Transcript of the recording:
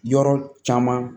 Yɔrɔ caman